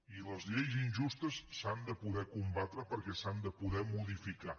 i les lleis injustes s’han de poder combatre perquè s’han de poder modificar